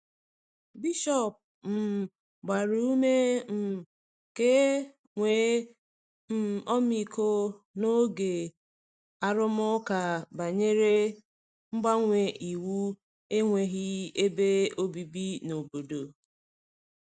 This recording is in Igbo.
Bishọp um gbara ume um ka e nwee um ọmịiko n’oge arụmụka banyere mgbanwe iwu enweghị ebe obibi n’obodo.